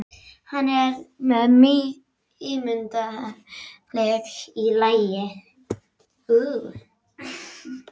Hann er með ímyndunaraflið í lagi.